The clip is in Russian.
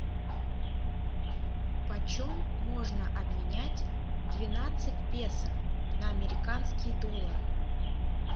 почем можно обменять двенадцать песо на американские доллары